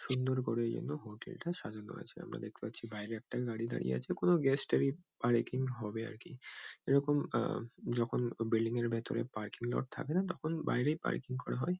সুন্দর করে এইজন্য হোটেল -টা সাজানো আছে। আমরা দেখতে পাচ্ছি বাইরে একটা গাড়ি দাঁড়িয়ে আছে। কোনো গেস্ট -এরই পার্কিং হবে আর কি। এরকম আ যখন বিল্ডিং -এর ভেতরে পাৰ্কিং লট থাকে না তখন বাইরেই পার্কিং করা হয়।